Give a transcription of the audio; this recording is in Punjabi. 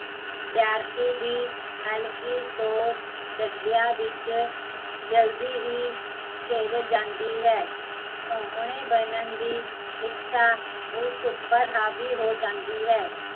ਵਿਦਿਆਰਥੀ ਦੀ, ਹਲਕੀ ਸੋਚ, ਜਜਬਿਆ ਵਿੱਚ ਜਲਦੀ ਹੀਂ, ਘਿਰ ਜਾਂਦੀ ਹੈ ਸੋਹਣੇ ਬਣਨ ਦੀ ਇੱਛਾ ਉਸ ਉੱਪਰ ਹਾਵੀ ਹੋ ਜਾਂਦੀ ਹੈ